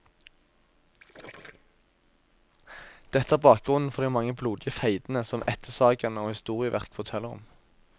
Dette er bakgrunnen for de mange blodige feidene som ættesagaene og historieverk forteller om.